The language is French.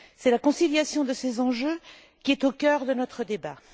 C'est la conciliation de ces enjeux qui est au cœur de notre débat.